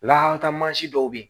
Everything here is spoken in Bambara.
Lahala mansin dɔw be yen